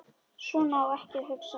Svona á ekki að hugsa.